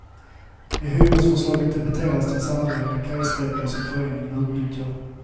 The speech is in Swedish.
I hyresförslaget debiteras den sammanlagda kajsträcka som föreningen utnyttjar.